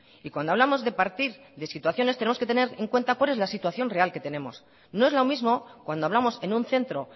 y cuando hablamos de partir de situaciones tenemos que tener en cuenta cual es la situación real que tenemos no es lo mismo cuando hablamos en un centro